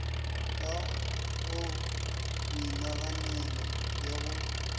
ka go boinaganelo le go